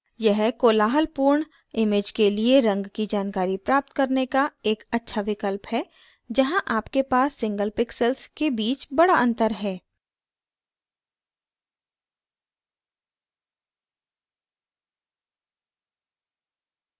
यह कोलाहलपूर्ण image के लिए रंग की जानकारी प्राप्त करने का एक अच्छा विकल्प है जहाँ आपके पास single pixels के बीच बड़ा अंतर है